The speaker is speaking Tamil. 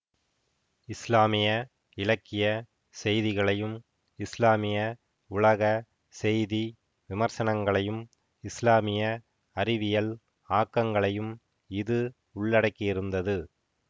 இஸ்லாமிய இலக்கிய செய்திகளையும் இஸ்லாமிய உலக செய்தி விமர்சனங்களையும் இஸ்லாமிய அறிவியல் ஆக்கங்களையும் இது உள்ளடக்கியிருந்தது